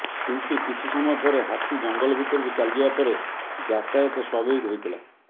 କିନ୍ତୁ କିଛି ସମୟ ପରେ ହାତୀ ଜଙ୍ଗଲ ଭିତରକୁ ଚାଲିଯିବା ପରେ ଯାତାୟତ ସ୍ୱଭାବିକ ହୋଇଥିଲା